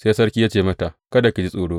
Sai sarki ya ce mata, Kada ki ji tsoro.